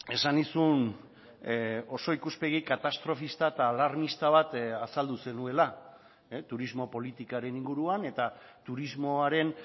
esan nizun oso ikuspegi katastrofista eta alarmista bat azaldu zenuela turismo politikaren inguruan eta turismoaren